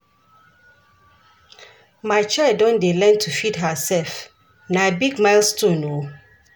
My child don dey learn to feed hersef, na big milestone o.